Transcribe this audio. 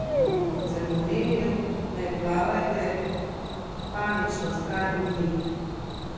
Kot sem omenil, ne plavajte panično stran od njih!